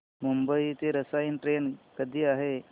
मुंबई ते रसायनी ट्रेन कधी आहे